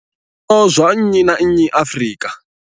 zwikolo zwa nnyi na nnyi Afrika.